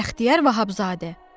Bəxtiyar Vahabzadə.